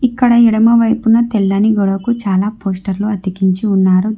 ఇక్కడ ఎడమ వైపున తెల్లని గోడకు చాలా పోస్టర్లు అతికించి ఉన్నారు దా--